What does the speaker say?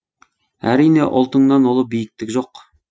әрине ұлтыңнан ұлы биіктік жоқ